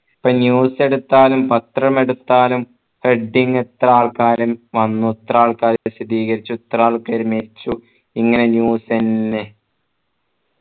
ഇപ്പൊ news എടുത്താലും പത്രമെടുത്താലും heading ഇത്ര ആൾകാർ വന്നു ഇത്ര ആൾകാർ ഇത്ര ആൾക്കാർ മെരിച്ചു ഇങ്ങനെ news എന്നെ